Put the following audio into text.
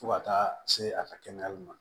Fo ka taa se a ka kɛnɛyali ma